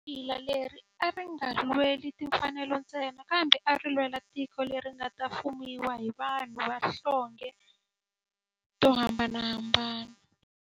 Papila leri a ri nga lweli timfanelo ntsena kambe ari lwela tiko leri nga ta fumiwa hi vanhu va tihlonge to hambanahambana.